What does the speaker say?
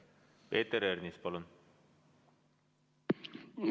Peeter Ernits, palun!